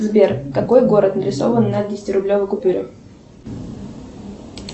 сбер какой город нарисован на десяти рублевой купюре